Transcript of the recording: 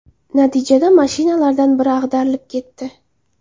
Natijada mashinalardan biri ag‘darilib ketdi.